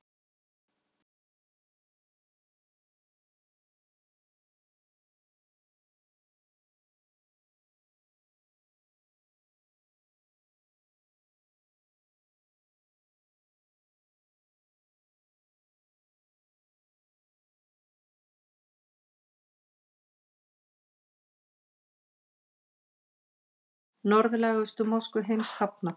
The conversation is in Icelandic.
Norðlægustu mosku heims hafnað